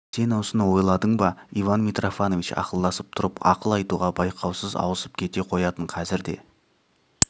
сен осыны ойладың ба иван митрофанович ақылдасып тұрып ақыл айтуға байқаусыз ауысып кете қоятын қазір де